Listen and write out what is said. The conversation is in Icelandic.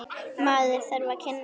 Maður þarf að kynnast henni!